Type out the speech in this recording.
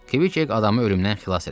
Kviket adamı ölümdən xilas eləmişdi.